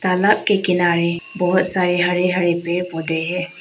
तालाब के किनारे बहुत सारे हरे हरे पेड़ पौधे हैं।